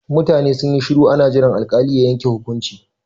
Mutane sun yi shuru ana jiran alkali ya yanke hukunci.